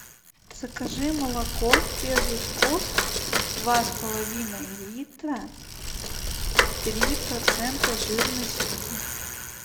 закажи молоко первый вкус два с половиной литра три процента жирности